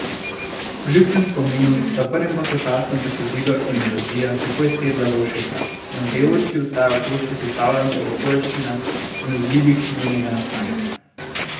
Po ljudskem spominu sta prvim poslušalcem besedilo in melodija takoj sedla v ušesa, manjkajoči ostajajo koščki sestavljanke o okoliščinah in vzgibih njenega nastanka.